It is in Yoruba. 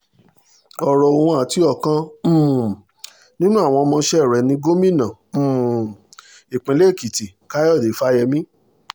ọ̀rọ̀ òun àti ọ̀kan um nínú àwọn ọmọọṣẹ́ rẹ̀ ní gómìnà um ìpínlẹ̀ èkìtì káyọ̀dé fáyemí